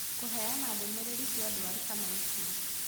Kũheana ndũmĩrĩri cia ndwari kana ikuũ